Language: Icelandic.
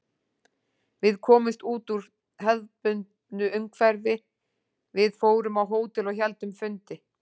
Við komumst út úr hefðbundnu umhverfi, við fórum á hótel og héldum fundi.